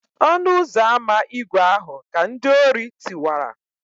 ọnu-uzọ-ama ígwè ahu ka ndi-ori tiwara